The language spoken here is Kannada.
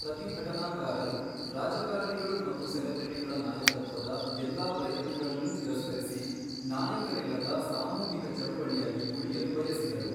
ಪ್ರತಿಭಟನಾಕಾರರು ರಾಜಕಾರಣಿಗಳು ಮತ್ತು ಸೆಲೆಬ್ರಿಟಿಗಳ ನಾಯಕತ್ವದ ಎಲ್ಲಾ ಪ್ರಯತ್ನಗಳನ್ನೂ ತಿರಸ್ಕರಿಸಿ ನಾಯಕರಿಲ್ಲದ ಸಾಮೂಹಿಕ ಚಳುವಳಿಯಾಗಿ ಉಳಿಯಲು ಬಯಸಿದರು.